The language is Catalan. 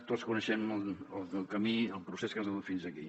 tots coneixem el camí el procés que ens ha dut fins aquí